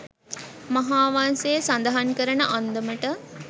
මහාවංසය සඳහන් කරන අන්දමට